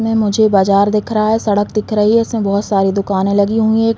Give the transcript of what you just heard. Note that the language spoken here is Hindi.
में मुझे बाजार दिख रहा है। सड़क दिख रही है। इसमें बहोत सारी दुकाने लगी हुई हैं।